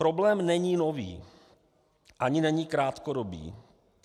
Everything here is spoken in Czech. Problém není nový, ani není krátkodobý.